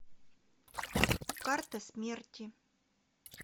карта смерти